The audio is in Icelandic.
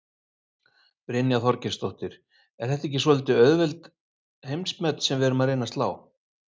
Brynja Þorgeirsdóttir: Er þetta ekki svolítið auðveld heimsmet sem við erum að reyna að slá?